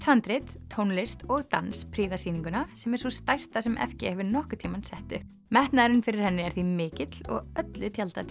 handrit tónlist og dans prýða sýninguna sem er sú stærsta sem f g hefur nokkuð tímann sett upp metnaðurinn fyrir henni er því mikill og öllu til tjaldað